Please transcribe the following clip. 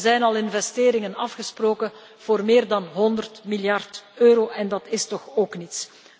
Want er zijn al investeringen afgesproken voor meer dan 100 miljard euro en dat is toch ook iets.